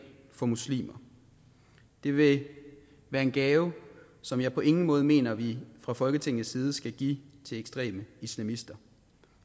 for muslimer det ville være en gave som jeg på ingen måde mener vi fra folketingets side skal give til ekstreme islamister